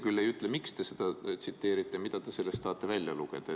Te aga ei ütle, miks te seda tsiteerite ja mida te tahate sellest välja lugeda.